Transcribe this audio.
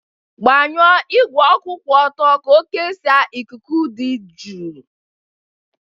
Gbanwuo igwe kwụ ọtọ ka ọ kesaa ikuku dị jụụ.